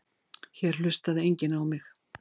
Hér hlustaði enginn á mig.